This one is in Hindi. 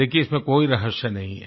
देखिये इसमें कोई रहस्य नहीं है